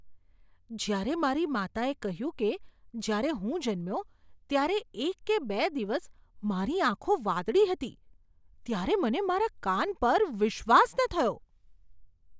જ્યારે મારી માતાએ કહ્યું કે જ્યારે હું જન્મ્યો ત્યારે એક કે બે દિવસ મારી આંખો વાદળી હતી ત્યારે મને મારા કાન પર વિશ્વાસ ન થયો.